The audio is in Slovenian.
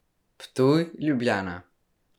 Ptuj, Ljubljana.